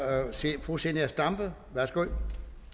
fru zenia stampe værsgo